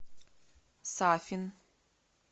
сафин